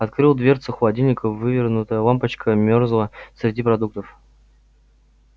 открыл дверцу холодильника вывернутая лампочка мёрзла среди продуктов